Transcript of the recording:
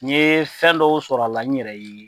N'i ye fɛn dɔw sɔrɔ a la n yɛrɛ ye